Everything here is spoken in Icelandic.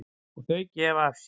Og þau gefa af sér.